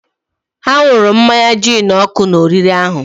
ha ṅụrụ mmanya gin nkụ na oriri ahụ